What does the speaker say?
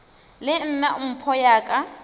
le nna mpho ya ka